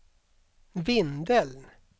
Vindeln